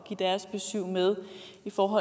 fru